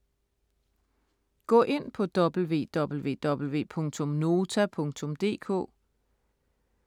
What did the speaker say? Gå ind på www.nota.dk